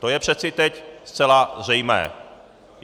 To je přece teď zcela zřejmé.